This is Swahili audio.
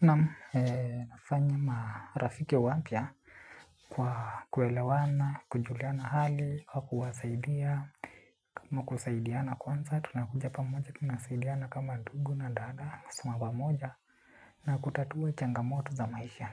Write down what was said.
Naam nafanya marafiki wapya kwa kuelewana, kujuliana hali, kwa kuwasaidia. Kwa kusaidiana kwanza, tunakuja pamoja, tunasaidiana kama ndugu na dada, sima pamoja. Na kutatua changamoto za maisha.